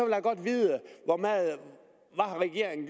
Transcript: jeg godt vide hvad regeringen